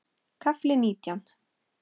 KAFLI NÍTJÁN